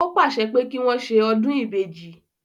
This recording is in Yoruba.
Ó pàṣẹ pé kí wọ́n ṣe ọdún ìbejì